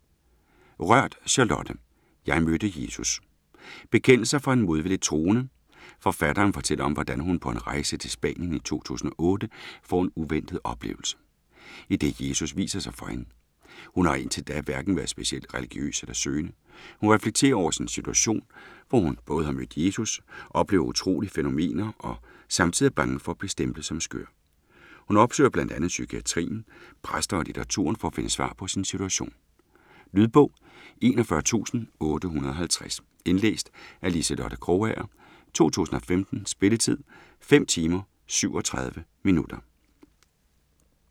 Rørth, Charlotte: Jeg mødte Jesus Bekendelser fra en modvilligt troende. Forfatteren fortæller om hvordan hun på en rejse til Spanien i 2008 får en uventet oplevelse, idet Jesus viser sig for hende. Hun har indtil da hverken været specielt religiøs eller søgende. Hun reflekterer over sin situation, hvor hun både har mødt Jesus, oplever utrolige fænomener og samtidig er bange for at blive stemplet som skør. Hun opsøger bl.a. psykiatrien, præster og litteraturen, for at finde svar på sin situation. Lydbog 41850 Indlæst af Liselotte Krogager, 2015. Spilletid: 5 timer, 37 minutter.